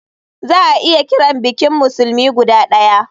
Za a iya kiran bikin musulmi guda daya.